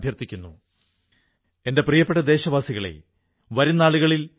company കർഷകർക്ക് ഇപ്രാവശ്യം വിലകൂടാതെ ബോണസും നല്കി